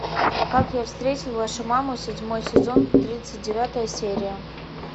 как я встретил вашу маму седьмой сезон тридцать девятая серия